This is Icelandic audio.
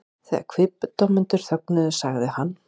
Þegar kviðdómendur þögnuðu sagði hann